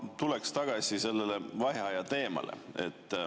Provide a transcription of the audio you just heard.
Ma tulen tagasi vaheaja teema juurde.